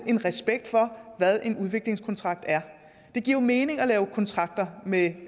en respekt for hvad en udviklingskontrakt er det giver jo mening at lave kontrakter med